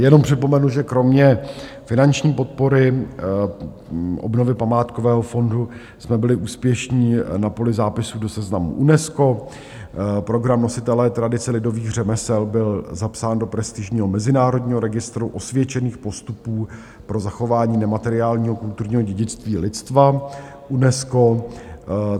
Jenom připomenu, že kromě finanční podpory obnovy památkového fondu jsme byli úspěšní na poli zápisu do seznamu UNESCO, program Nositelé tradice lidových řemesel byl zapsán do prestižního mezinárodního Registru osvědčených postupů pro zachování nemateriálního kulturního dědictví lidstva UNESCO.